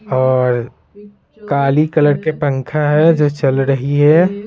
और काली कलर के पंखा है जो चल रही है।